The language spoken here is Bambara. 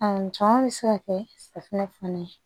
caman bɛ se ka kɛ safunɛ fana ye